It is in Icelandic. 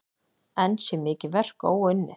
Enn sé mikið verk óunnið.